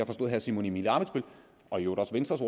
forstå herre simon emil ammitzbøll og i øvrigt også venstres